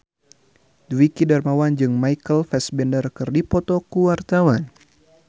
Dwiki Darmawan jeung Michael Fassbender keur dipoto ku wartawan